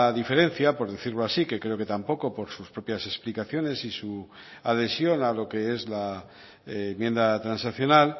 diferencia por decirlo así que creo que tampoco por sus propias explicaciones y su adhesión a lo que es la enmienda transaccional